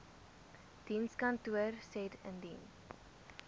dienskantoor said indien